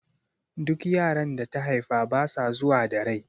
Duk yaran da ta haifa basa zuwa da rai